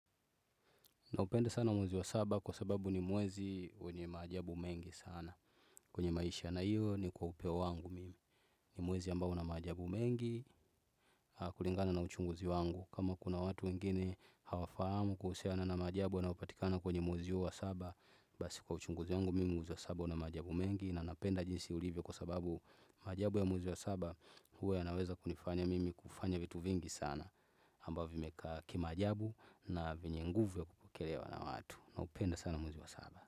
Naupenda sana mwezi wa saba kwa sababu ni mwezi wenye maajabu mengi sana. Kwenye maisha na hiyo ni kwa upeo wangu mimi. Ni mwezi ambao una maajabu mengi kulingana na uchunguzi wangu. Kama kuna watu wengine hawafahamu kuhusiana na maajabu yanayopatikana kwenye mwezi huu wa saba. Basi kwa uchunguzi wangu mimi mwezi wa saba una maajabu mengi. Na napenda jinsi ulivyo kwa sababu maajabu ya mwezi wa saba huwa yanaweza kunifanya mimi kufanya vitu vingi sana ambavyo vimekaa kimaajabu na vyenye nguvu ya kupokelewa na watu naupenda sana mwezi wa saba.